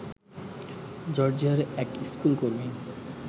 জর্জিয়ার এক স্কুলকর্মী